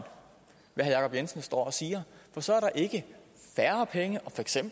hvad herre jacob jensen står og siger for så er der ikke færre penge